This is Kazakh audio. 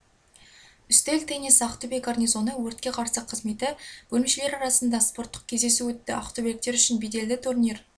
үстел теннисі ақтөбе гарнизоны өртке қарсы қызметі бөлімшелері арасында спорттық кездесу өтті ақтөбеліктер үшін беделді турнир